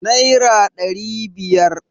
naira ɗari biyar